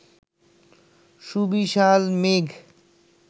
সুবিশাল মেঘ